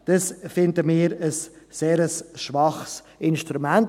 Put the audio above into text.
Dies erachten wir als ein sehr schwaches Instrument.